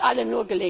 Es kann uns allen